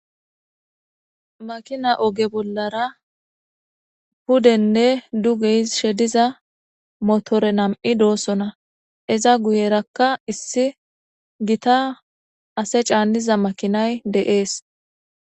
Makina oge bollara pudenne dugey shediza motore nam7i doosona eza guyerakka issi gita ase caanniza makinay de7ees